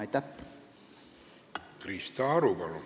Krista Aru, palun!